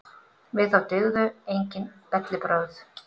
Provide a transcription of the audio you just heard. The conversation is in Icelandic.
Við þá dygðu enginn bellibrögð.